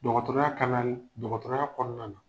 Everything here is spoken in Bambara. Dɔgɔtɔrɔya dɔgɔtɔrɔya kɔɔna na